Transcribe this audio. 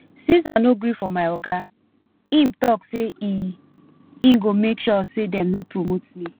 since i no gree for my oga im talk say e e go make sure say dem no promote me